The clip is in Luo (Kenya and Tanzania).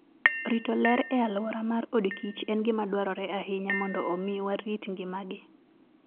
Rito ler e alwora mar odkich en gima dwarore ahinya mondo omi warit ngimagi.